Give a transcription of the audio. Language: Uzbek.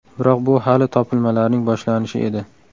Biroq bu hali topilmalarning boshlanishi edi.